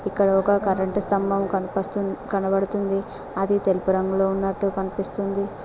ఇక్కడ ఒక కరెంటు స్తంభం కనబడుతుంది అది తెలుపు రంగులో ఉన్నట్టు కనిపిస్తుంది.